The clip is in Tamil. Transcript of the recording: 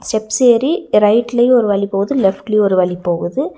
ஸ்டெப்ஸ் ஏரி ரைட்லையு ஒரு வழி போகுது லெஃப்ட்லயு ஒரு வழி போகுது.